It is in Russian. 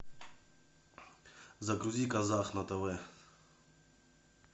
загрузи казах на тв